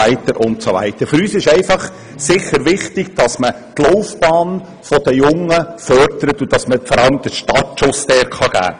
Für uns ist es wichtig, dass man die Laufbahn der jungen Menschen unterstützt und ihnen vor allem einen guten Start ermöglicht.